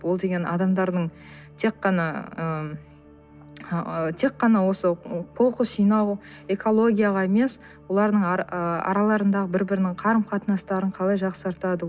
ол деген адамдардың тек қана ы тек қана осы қоқыс жинау экологияға емес олардың ы араларындағы бір бірінің қарым қатынастарын қалай жақсартады